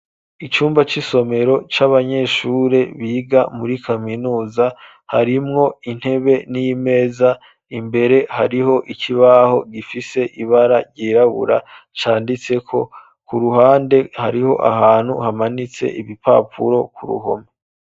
Icumba c'isomero c'abanyeshure biga muri kaminuza harimwo intebe n'imeza imbere hariho ikibaho gifise ibara ryirabura canditseko, ku ruhande hariho ahantu hamanitse ibipapuro ku ruhome.